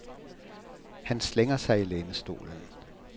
Han slænger sig i lænestolen.